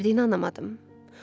Nə baş verdiyini anlamadım.